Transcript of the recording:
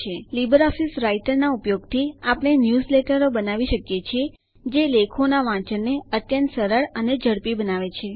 Libre office રાઈટરનાં ઉપયોગથી આપણે ન્યૂઝલેટરો બનાવી શકીએ છીએ જે લેખોનાં વાંચનને અત્યંત સરળ અને ઝડપી બનાવે છે